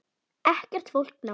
Ekkert fólk nálægt.